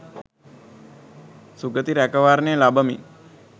සුගති රැකවරණය ලබමින්